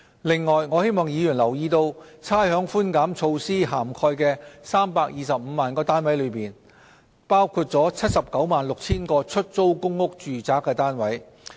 另外，我希望議員留意差餉寬減措施涵蓋的325萬個物業中，包括了 796,000 個出租公屋住宅單位。